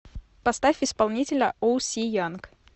поставь исполнителя о си янг